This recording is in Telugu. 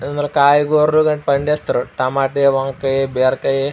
ఇందిలో కాయగూరలు కూడా పండిస్తారు. టమోటా వంకాయ బీరకాయ --